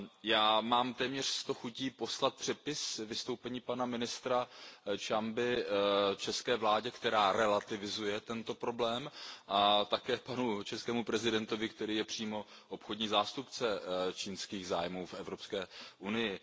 Já mám téměř sto chutí poslat přepis vystoupení pana ministra Ciamby české vládě, která relativizuje tento problém, a také českému prezidentovi, který je přímo obchodní zástupce čínských zájmů v Evropské unii.